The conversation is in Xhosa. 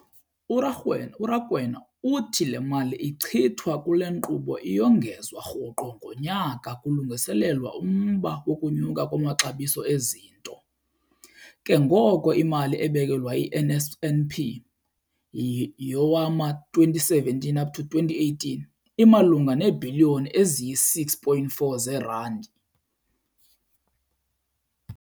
URakwena uthi le mali ichithwa kule nkqubo iyongezwa rhoqo ngonyaka kulungiselelwa umba wokunyuka kwamaxabiso ezinto, ke ngoko imali ebekelwe i-NSNP yowama-2017 up to 2018 imalunga neebhiliyoni eziyi-6.4 zeerandi.